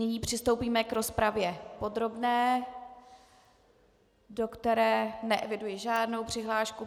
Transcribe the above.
Nyní přistoupíme k rozpravě podrobné, do které neeviduji žádnou přihlášku.